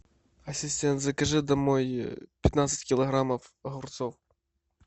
ассистент закажи домой пятнадцать килограммов огурцов